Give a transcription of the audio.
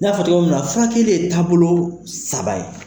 N y'a fɔ cogo min na furakɛli ye taabolo saba ye.